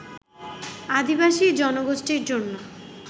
আদিবাসী জনগোষ্ঠীর জন্য